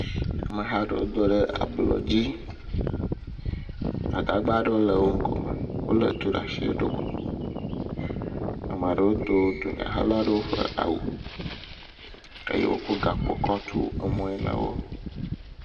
Ameha aɖewo do ɖe ablɔ dzi. Gbadagba aɖewo le wɔ ŋkume. Wòle etu ɖe asi eɖɔ kuku. Ame aɖewo do eʋuhela la ƒe awu eye wokɔ gakpo kɔ tso emɔ nawò.